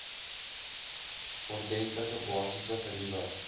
ordentlike basiese geriewe